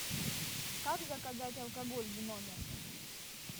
как заказать алкоголь в номер